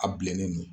A bilennen don